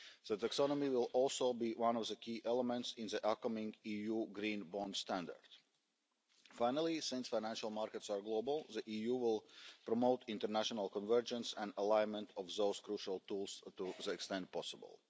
The taxonomy will also be one of the key elements in the upcoming EU green bond standard. Finally, since financial markets are global, the EU will promote international convergence and alignment of those crucial tools to the extent possible.